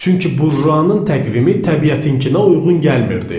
Çünki burjuanın təqvimi təbiətinkilə uyğun gəlmirdi.